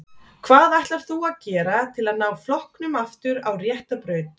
Hvað ætlar þú að gera til að ná flokknum aftur á rétta braut?